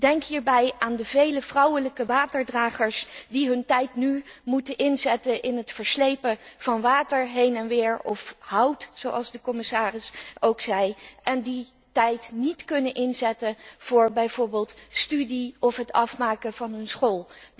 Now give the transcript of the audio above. Denk hierbij aan de vele vrouwelijke waterdragers die hun tijd nu moeten inzetten voor het verslepen van water heen en weer of hout, zoals de commissaris ook al zei, en die tijd niet kunnen inzetten voor bijvoorbeeld studie of het afmaken van hun school.